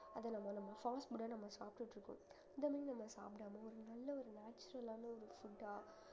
அத நம்ம நம்ம fast food ஆ நம்ம சாப்பிட்டுட்டு இருக்கோம் இந்த மாதிரி நம்ம சாப்பிடாம ஒரு நல்ல ஒரு natural ஆன ஒரு food ஆ